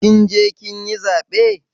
Kin je kin yi zaɓe?